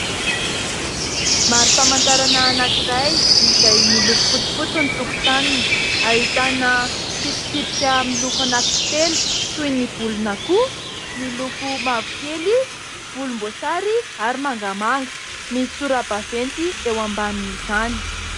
Marim-pamantarana anankiray izay miloko fotsifotsy ny tokotaniny, ahitana tsipitsipika miloko anakintelo toy ny volon'akoho miloko mavokely, volomboasary ary mangamanga, misy sora-baventy eo ambanin' izany.